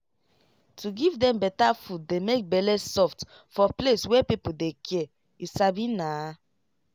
to give dem better food dey make bele soft for place wey people dey care you sabi naa.